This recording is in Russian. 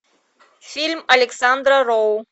фильм александра роу